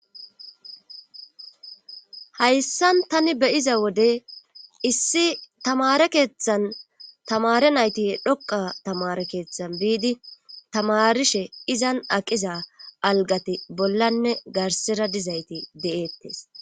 Hayssan tan be'iza wode issi taamare keeththan tamare nayti dhoqa tamare keeththan bidi tamarishe izan aqiza algati bollanne garssera dizayti de'eetees.